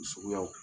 Suguyaw